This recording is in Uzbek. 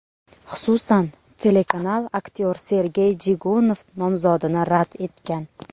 Xususan, telekanal aktyor Sergey Jigunov nomzodini rad etgan.